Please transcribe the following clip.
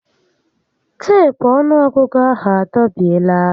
Teepu ọnụọgụgụ ahụ a dọbiela